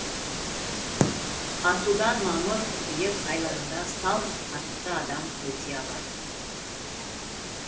асудан мамыр қыркүйек айларында салт атты адам өте алады